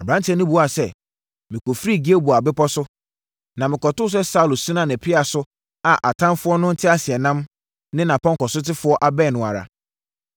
Aberanteɛ no buaa sɛ, “Mekɔfirii Gilboa bepɔ so, na mekɔtoo sɛ Saulo sina ne pea so a atamfoɔ no nteaseɛnam ne nʼapɔnkɔsotefoɔ abɛn no ara.